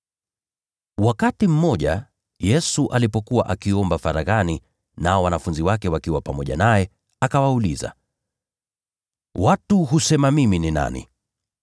Wakati mmoja, Yesu alipokuwa akiomba faraghani, nao wanafunzi wake wakiwa pamoja naye, akawauliza, “Watu husema mimi ni nani?”